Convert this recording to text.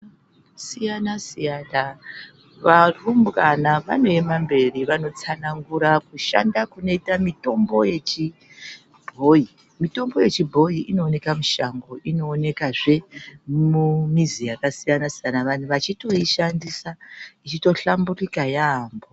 Vandu vakasiyana siyana varumbwana vanoema mberi vachitsanangura mashandiro anoita mitombo yechinyakare ,mitombo iyi inoonekwa mushango inokwanisa kuwanikwa mumbizi yakasiyana siyana vantu vachiishandisa vachihlamburuka yambo.